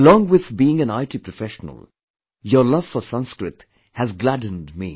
Alongwith being IT professional, your love for Sanskrit has gladdened me